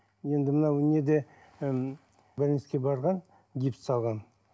енді мынау неде ы больницаға барған гипс салған